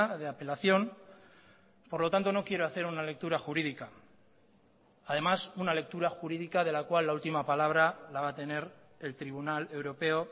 de apelación por lo tanto no quiero hacer una lectura jurídica además una lectura jurídica de la cual la ultima palabra la va a tener el tribunal europeo